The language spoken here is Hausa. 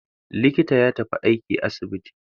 Likita ya tafi aiki asibiti.